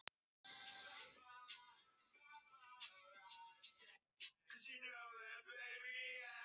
Já, hafði hann ekki hagað sér frekar undarlega í gærkvöld?